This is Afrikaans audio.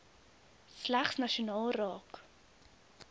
slegs nasionaal raak